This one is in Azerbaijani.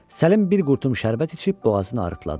Səlim bir qurtum şərbət içib boğazını arıtladı.